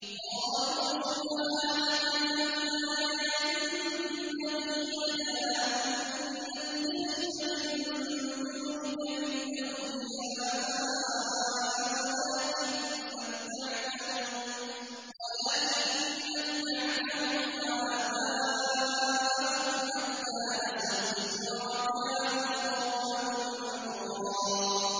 قَالُوا سُبْحَانَكَ مَا كَانَ يَنبَغِي لَنَا أَن نَّتَّخِذَ مِن دُونِكَ مِنْ أَوْلِيَاءَ وَلَٰكِن مَّتَّعْتَهُمْ وَآبَاءَهُمْ حَتَّىٰ نَسُوا الذِّكْرَ وَكَانُوا قَوْمًا بُورًا